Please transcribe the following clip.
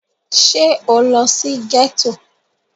À ïî÷åìó ó âàñ íåò â ýòîì ñëó÷àè èçíè?